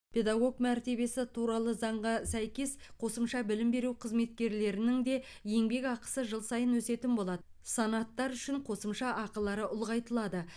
педагог мәртебесі туралы заңға сәйкес қосымша білім беру қызметкерлерінің де еңбекақысы жыл сайын өсетін болады санаттар үшін қосымша ақылары ұлғайтылады